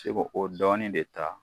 Fi ko o dɔɔnin de ta